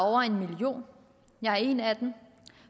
over en million jeg er en af dem